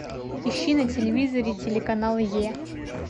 ищи на телевизоре телеканал е